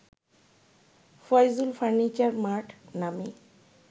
Faizul furniture mart নামে